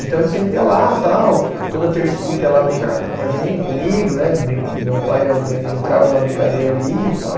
Então ele sempre ia lá tal, toda terça e quinta ia lá brincar com a gen, comigo né, meu pai e minha mãe entravam na brincadeira ali e tal.